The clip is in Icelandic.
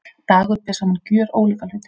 Dagur ber saman gjörólíka hluti